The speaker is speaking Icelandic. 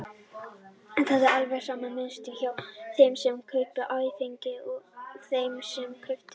Það er alveg sama mynstur hjá þeim sem kaupa áfengi og þeim sem kaupa dóp.